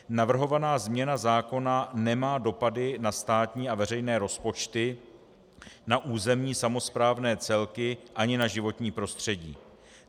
Navrhovaná změna zákona nemá dopady na státní a veřejné rozpočty, na územní samosprávné celky ani na životní prostředí.